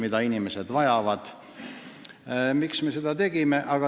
Miks me selle arupärimise esitasime?